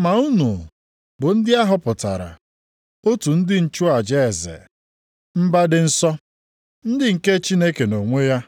Ma unu bụ ndị a họpụtara, otu ndị nchụaja eze, mba dị nsọ, ndị nke Chineke nʼonwe ya,